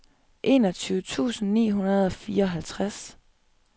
enogtyve tusind ni hundrede og fireoghalvtreds